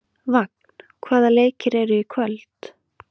Vagn, hvaða leikir eru í kvöld?